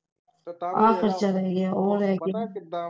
ਆਖਿਰ ਚਲਾ ਗਿਆ ਓਹ ਲੈ ਕੇ